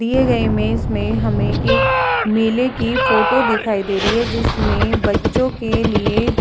दिए गए इमेज में हमें एक मेले की फोटो दिखाई दे रही है जिसमें बच्चों के लिए --